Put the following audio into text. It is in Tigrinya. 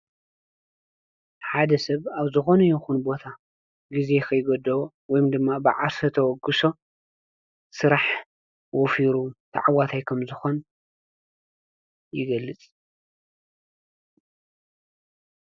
ሓደ ሰብ ኣብ ዝኾነ የኹን ቦታ ጊዜ ኸይጐደቦ ወም ድማ ብዓሰ ተወግሶ ሥራሕ ወፊሩ ተዕዋታይከም ዝኾን ይገልጽ።